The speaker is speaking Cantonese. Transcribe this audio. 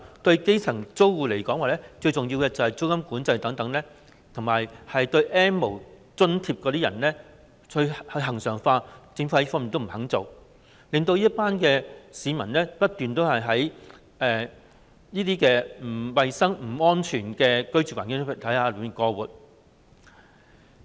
對基層租戶來說，最重要的是實施租金管制等措施及將 "N 無"津貼恆常化，但政府卻不肯做這些，令這群市民要繼續在不衞生、不安全的居住環境中過活。